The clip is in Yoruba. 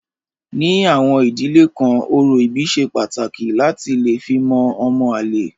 Ní àwọn ìdílé kan orò ìbí ṣe pàtàkì láti lè fi mọ ọmọ àlè.